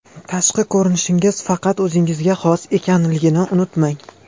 Tashqi ko‘rinishingiz faqat o‘zingizga xos ekanligini unutmang!